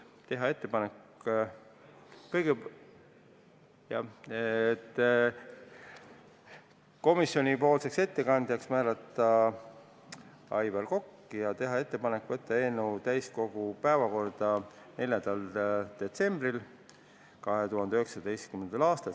Kõigepealt, teha ettepanek määrata komisjonipoolseks ettekandjaks Aivar Kokk ja võtta eelnõu täiskogu 4. detsembri istungi päevakorda.